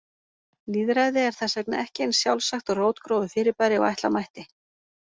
Lýðræði er þess vegna ekki eins sjálfsagt og rótgróið fyrirbæri og ætla mætti.